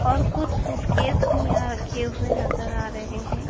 और कुछ सूटकेस भी आ रखे हुए नजर आ रहे हैं।